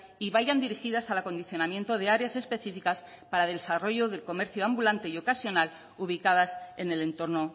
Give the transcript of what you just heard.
y vayan dirigidas al acondicionamiento de áreas específicas para el desarrollo del comercio ambulante y ocasional ubicadas en el entorno